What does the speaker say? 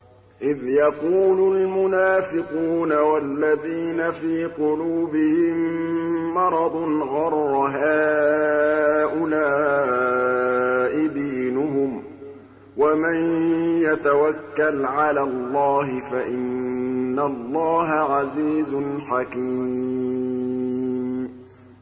إِذْ يَقُولُ الْمُنَافِقُونَ وَالَّذِينَ فِي قُلُوبِهِم مَّرَضٌ غَرَّ هَٰؤُلَاءِ دِينُهُمْ ۗ وَمَن يَتَوَكَّلْ عَلَى اللَّهِ فَإِنَّ اللَّهَ عَزِيزٌ حَكِيمٌ